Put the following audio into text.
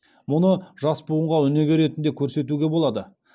мұны жас буынға өнеге ретінде көрсетуге болады